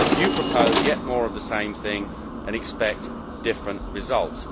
You propose yet more of the same thing and expect different results.